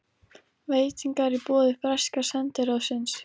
Veitingar í boði breska sendiráðsins.